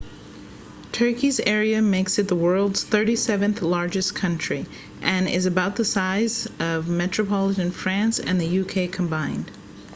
turkey's area makes it the world's 37th-largest country and is about the size of metropolitan france and the united kingdom combined